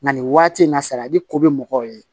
Nka nin waati in na sadi ko bɛ mɔgɔw ye